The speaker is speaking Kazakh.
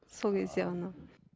сол кезде ғана